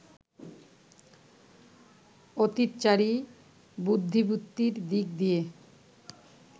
অতীতচারী বুদ্ধিবৃত্তির দিক দিয়ে